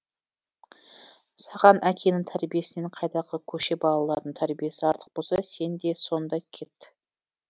саған әкеңнің тәрбиесінен қайдағы көше балаларының тәрбиесі артық болса сен де сонда кет